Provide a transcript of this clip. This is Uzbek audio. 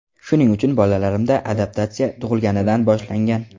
Shuning uchun bolalarimda ‘adaptatsiya’ tug‘ilganidan boshlangan.